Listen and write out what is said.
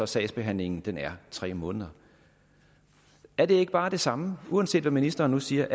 sagsbehandlingstiden er tre måneder er det ikke bare det samme uanset hvad ministeren siger